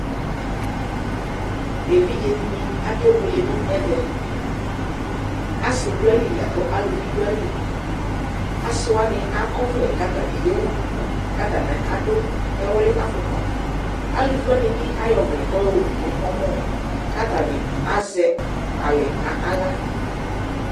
Evidze dini akebuele nʋ ɛvɛAsiduayili lakʋ aluvi dʋayiliAsiwani akɔvlɛ , katani ewu duku Katani adʋ ɛwli'afukpaAluvi wani bi ayɔ ɔvlɛ kayɔwu nʋ ɔmɔ , katani azɛ alɛ naɣla